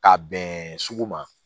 Ka bɛn sugu ma